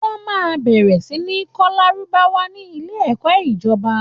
Wọ́n máa bẹ̀rẹ̀ sí ní kọ́ lárúbáwá ní ilé ẹ̀kọ́ ìjọba